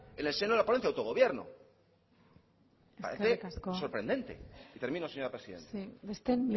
en el seno de la ponencia de autogobierno me parece sorprendente eskerrik asko y termino señora presidenta besteen